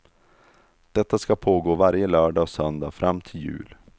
Detta ska pågå varje lördag och söndag fram till jul.